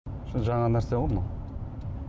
жаңа нәрсе ғой мынау